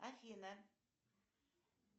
афина